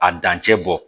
A dancɛ bɔ